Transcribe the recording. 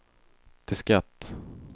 diskett